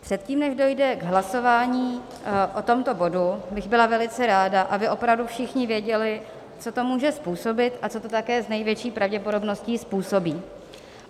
Předtím, než dojde k hlasování o tomto bodu, byla bych velice ráda, aby opravdu všichni věděli, co to může způsobit a co to také s největší pravděpodobností způsobí.